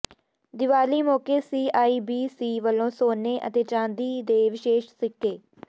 ਦੀਵਾਲੀ ਮੌਕੇ C I B C ਵੱਲੋਂ ਸੋਨੇ ਅਤੇ ਚਾਂਦੀ ਦੇ ਵਿਸ਼ੇਸ਼ ਸਿੱਕੇ